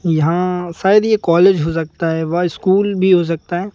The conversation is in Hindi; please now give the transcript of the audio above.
यहां शायद ये कॉलेज हो सकता हैं व स्कूल भी हो सकता है।